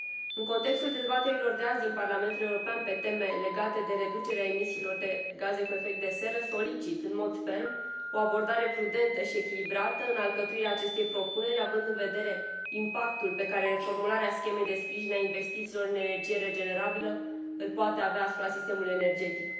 În contextul dezbaterilor de azi din Parlamentul European pe teme legate de reducerea emisiilor de gaze cu efect de seră, solicit, în mod ferm, o abordare prudentă și echilibrată în alcătuirea acestei propuneri, având în vedere impactul pe care formularea schemei de sprijin a investițiilor în energie regenerabilă îl poate avea asupra sistemului energetic.